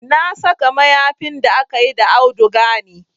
Na saka mayafin da akayi da auduga ne